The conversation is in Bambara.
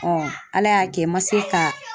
Ala y'a kɛ n ma se ka